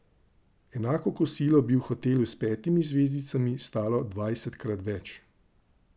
Enako kosilo bi v hotelu s petimi zvezdicami stalo dvajsetkrat več.